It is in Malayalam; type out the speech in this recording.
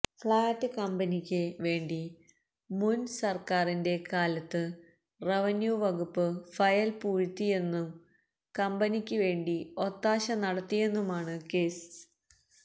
ഫ്ളാറ്റ് കമ്പനിയ്ക്ക് വേണ്ടി മുന് സര്ക്കാരിന്റെ കാലവത്ത് റവന്യൂ വകുപ്പ് ഫയല് പൂഴ്ത്തിയെന്നും കമ്പനിയ്ക്ക് വേണ്ടി ഒത്താശ നടത്തിയെന്നുമാണ് കേസ്